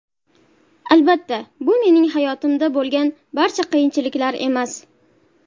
Albatta, bu mening hayotimda bo‘lgan barcha qiyinchiliklar emas.